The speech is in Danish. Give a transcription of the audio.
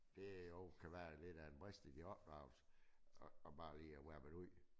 Det jo kan være lidt af en brist i din opdragelse at bare lige wabbe det ud